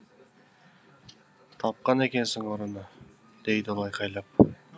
тапқан екенсің ұрыны дейді ол айқайлап